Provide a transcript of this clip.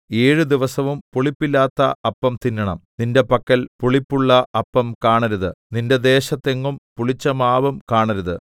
ഏഴ് ദിവസവും പുളിപ്പില്ലാത്ത അപ്പം തിന്നണം നിന്റെ പക്കൽ പുളിപ്പുള്ള അപ്പം കാണരുത് നിന്റെ ദേശത്തെങ്ങും പുളിച്ചമാവും കാണരുത്